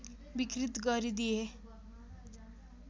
विकृत गरिदिए